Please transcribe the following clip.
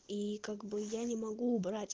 и как бы я не могу убрать